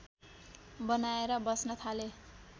बनाएर बस्न थाले